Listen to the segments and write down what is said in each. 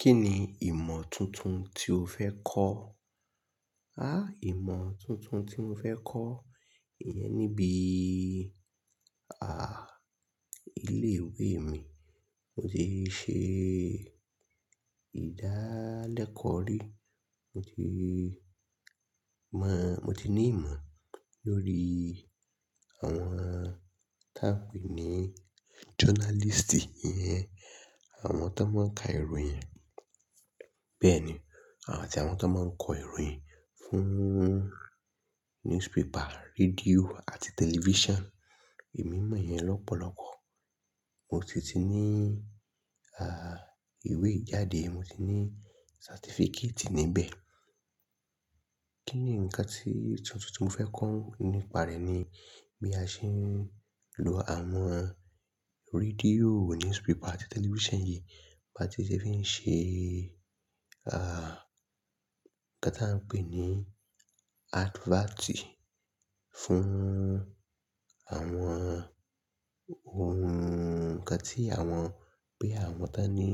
Kí ni ìmọ̀ tuntun tí o fẹ́ kọ́? Há ìmọ̀ tuntun tí mo fẹ́ kọ́, ìyẹn níbi, ah, ilé ìwé mi. Mo ti ṣe ìdálẹ́kọ̀ ri, mo ti mọ, mo ti ní ìmọ̀ lórí àwọn tá ń pè ní journalist, ìyẹn àwọn tó máa ń ka ìròyìn. Bẹ́ẹ̀ni, àti àwọn tó máa ń kọ ìròyìn fún newspaper, radio àti telifisan. Èmi mọ̀ yẹn lọ́pọ̀lọpọ̀. Mo sì ti ní, ìwé jáde, mo ti ní satifikẹti níbẹ̀. Kí ni ǹkan tuntun tí mo fẹ́ kọ́ nípa rẹ̀ ni bí a ṣe ń lo àwọn radio, newspaper àti telifisan yìí, bá ti ṣe fín ṣe, Inkán tí a ń pè ní adivati fún àwọn ohun kan tí àwọn pé àwọn tó ní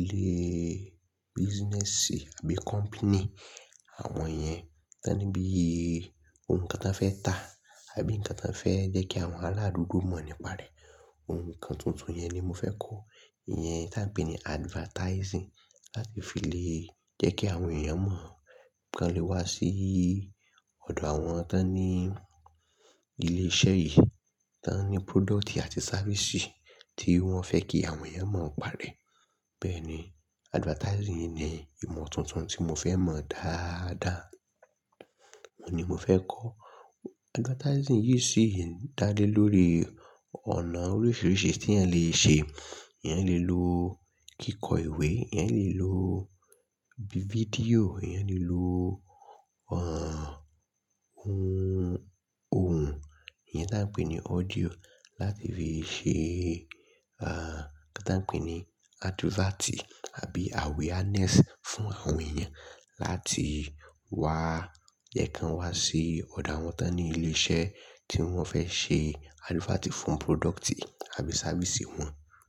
ilé business àbí kọnpini, àwọn yẹn tó ní bí ohun kan tán fẹ́ ta àbí ǹkan tán fẹ́ jẹ́ kí àwọn ara adùúgbò mọ̀ nípa rẹ̀. Ohun kan tuntun yẹn ni mo fẹ́ kọ́. Ìyẹn tí a ń pè ní (advertising) láti fi le jẹ́ kí àwọn èèyàn mọ̀, kí wọ́n lè wá sí ọ̀dọ̀ àwọn tó ní ilé iṣẹ́ yìí, tó ní product àti safisi tí wọ́n fẹ́ kí àwọn yẹn mọ̀ nípa rẹ̀. Bẹ́ẹ̀ni, advertising ni ìmọ̀ tuntun tí mo fẹ́ mọ̀ dáadáa. Óhun ni mo fẹ́ kọ́. Advertising yìí sì ń dá lé lórí ọ̀nà oríṣiríṣi tí ẹ̀yàn lè ṣe. Ẹ̀yàn lè lo kíkọ ìwé, ẹ̀yàn lè lo fídíò, ẹ̀yàn lè lo, ọ́, ohun tí a ń pè ní audio láti fi ṣe, nkan tà ń pè ni advert àbí awareness fún àwọn èèyàn láti wá jẹ́ kí wọ́n wá sí ọ̀dọ̀ àwọn tó ní ilé iṣẹ́ tí wọ́n fẹ́ ṣe advert fún product àbí safisi wọn.